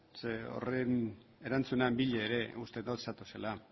zeren horren erantzunaren bila ere uste dut zatozela